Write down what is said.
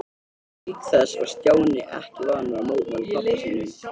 Auk þess var Stjáni ekki vanur að mótmæla pabba sínum.